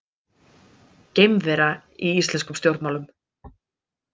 Geimvera í íslenskum stjórnmálum